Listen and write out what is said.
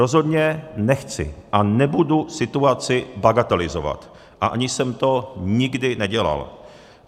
Rozhodně nechci a nebudu situaci bagatelizovat a ani jsem to nikdy nedělal.